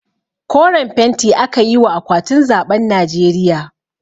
Koren fenti aka yi wa akwatin zaɓen najeriya